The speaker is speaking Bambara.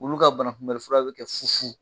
wulu ka banakunbɛlifura bɛ kɛ fufu.